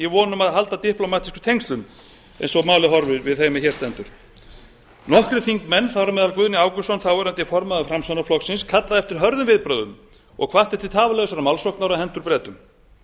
um að halda diplómatískum tengslum eins og málið horfir við þeim er hér stendur nokkrir þingmenn þar á meðal guðni ágústsson þáverandi formaður framsóknarflokksins kallaði eftir hörðum viðbrögðum og hvatti til tafarlausrar málsóknar á hendur bretum